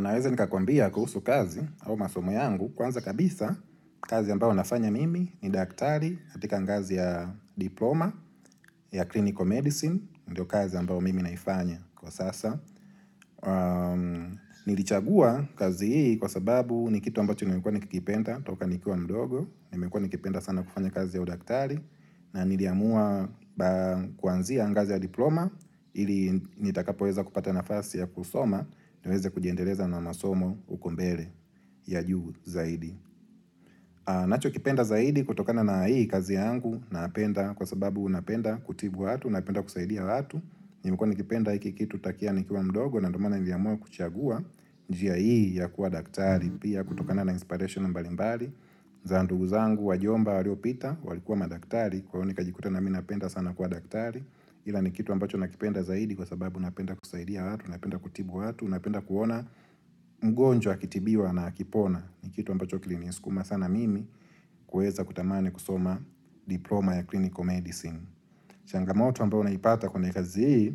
Naweza nikakuambia kuhusu kazi au masomo yangu kwanza kabisa kazi ambao nafanya mimi ni daktari katika ngazi ya diploma ya clinical medicine, ndio kazi ambao mimi naifanya kwa sasa. Nilichagua kazi hii kwa sababu ni kitu ambacho nimekuwa nikikipenda toka nikiwa mdogo Nimekuwa nikipenda sana kufanya kazi ya udaktari na niliamua kuanzia ngazi ya diploma Ili nitakapoweza kupata nafasi ya kusoma niweze kujiendeleza na masomo huko mbele ya juu zaidi nachokipenda zaidi kutokana na hii kazi yangu Kwa sababu napenda kutibu watu, napenda kusaidia watu Nimekuwa nikipenda hiki kitu tokea nikiwa mdogo na ndio maana niliamua kuchagua njia hii ya kuwa daktari pia kutokana na inspiration mbalimbali za ndugu zangu wajomba waliopita walikuwa madaktari kwa hiyo nikajikuta na mi napenda sana kuwa daktari ila ni kitu ambacho nakipenda zaidi kwa sababu napenda kusaidia watu napenda kutibu watu napenda kuona mgonjwa akitibiwa na akipona ni kitu ambacho kilinisukuma sana mimi kuweza kutamani kusoma diploma ya clinical medicine changamoto ambayo naipata kwenye kazi hii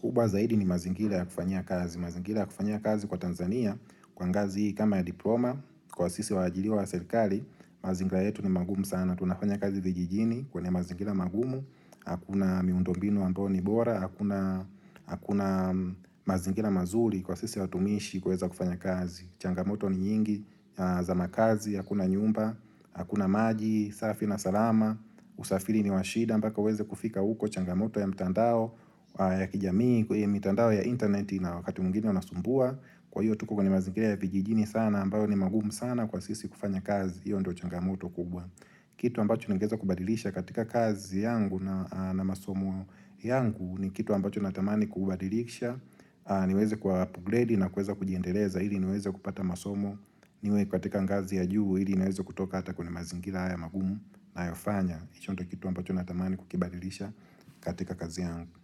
kubwa zaidi ni mazingira ya kufanyia kazi mazingira kufanyia kazi kwa Tanzania kwa ngazi hii kama ya diploma Kwa sisi waajiriwa wa serikali mazingira yetu ni magumu sana Tunafanya kazi vijijini kwenye mazingira magumu Hakuna miundombinu ambayo ni bora Hakuna mazingira mazuri kwa sisi watumishi kuweza kufanya kazi Changamoto ni nyingi za makazi Hakuna nyumba, hakuna maji, safi na salama usafiri ni wa shida mpaka uweze kufika huko changamoto ya mitandao ya kijamii, ikuwe mitandao ya intaneti na wakati mwingine unasumbua kwa hiyo tuko kwenye mazingira ya vijijini sana ambayo ni magumu sana kwa sisi kufanya kazi hiyo ndo changamoto kubwa kitu ambacho ningeweza kubadilisha katika kazi yangu na masomo yangu ni kitu ambacho natamani kubadilisha niweze kuapgredi na kuweza kujiendeleza ili niweze kupata masomo niwe katika ngazi ya juu ili niweze kutoka hata kwenye mazingira haya magumu nayofanya hicho ndio kitu ambacho natamani kukibadilisha katika kazi yangu.